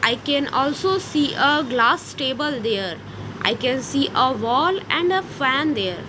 i can also see ah glass table there i can see ah wall and a fan there.